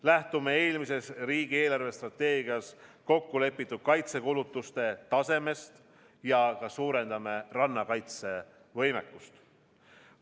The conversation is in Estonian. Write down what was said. Lähtume eelmises riigi eelarvestrateegias kokku lepitud kaitsekulutuste tasemest ja suurendame rannakaitsevõimekust.